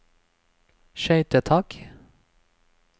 skøytetak